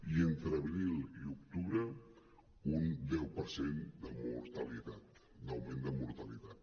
i entre abril i octubre un deu per cent de mortalitat d’augment de mortalitat